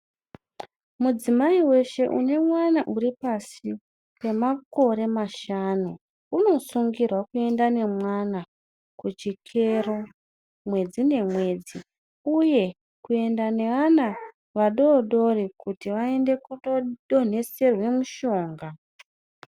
Mudzimai weshe une mwana uri pasi pemakore mashanu unosungirwa kuenda nemwana kuchikero mwedzi ngemwedzi uye kuenda neana vadodori kuti vaende kundodonheserwa mushonga.